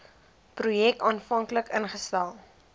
projek aanvanklik ingestel